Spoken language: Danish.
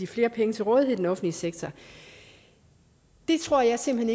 flere penge til rådighed i den offentlige sektor det tror jeg simpelt